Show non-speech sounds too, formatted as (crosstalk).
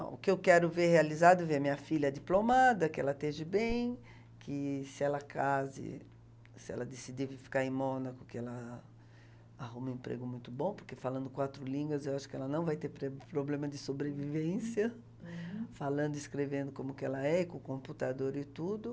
O que eu quero ver realizado é ver minha filha diplomada, que ela esteja bem, que se ela case, se ela decidir ficar em Mônaco, que ela arruma um emprego muito bom, porque falando quatro línguas eu acho que ela não vai ter (unintelligible) problema de sobrevivência, uhum, falando e escrevendo como que ela é, e com computador e tudo.